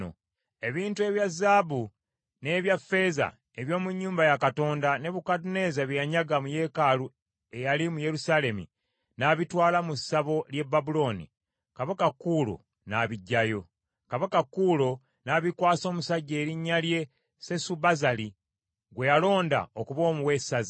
Ebintu ebya zaabu n’ebya ffeeza eby’omu nnyumba ya Katonda, Nebukadduneeza bye yanyaga mu yeekaalu eyali mu Yerusaalemi n’abitwala mu ssabo ly’e Babulooni, Kabaka Kuulo n’abiggyayo. Kabaka Kuulo n’abikwasa omusajja erinnya lye Sesubazaali, gwe yalonda okuba owessaza,